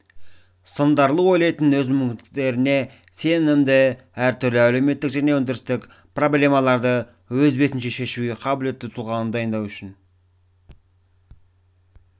сындарлы ойлайтын өз мүмкіндіктеріне сенімді әртүрлі әлеуметтік және өндірістік проблемаларды өз бетінше шешуге қабілетті тұлғаны дайындау үшін